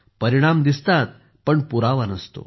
परिणाम दिसतात पण पुरावा नसतो